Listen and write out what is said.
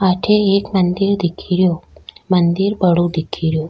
अठे एक मंदिर दिखे रियो मंदिर बड़ो दिखे रियो।